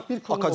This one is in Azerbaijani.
Bax bir.